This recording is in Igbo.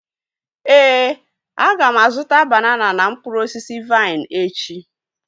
Éè, aga m azụta banana na mkpụrụ osisi vaịn echi